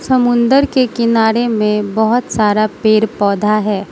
समुंदर के किनारे में बहुत सारा पेर पौधा है।